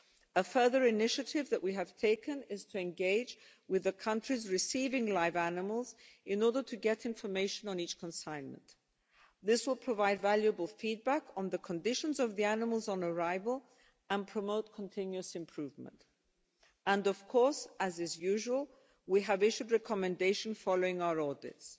A further initiative that we have taken is to engage with the countries receiving live animals in order to get information on each consignment. This will provide valuable feedback on the conditions of the animals on arrival, and promote continuous improvement, and of course, as is usual, we have issued recommendations following our audits.